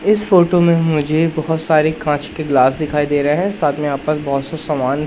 इस फोटो में मुझे बहोत सारी कांच की ग्लास दिखाई दे रहे हैं साथ में आपका बहोत से समान--